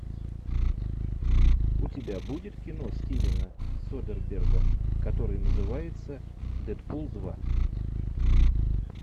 у тебя будет кино стивена содерберга который называется дэдпул два